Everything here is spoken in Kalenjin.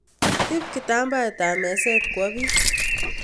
Ib kitambaet ab meset kwo bi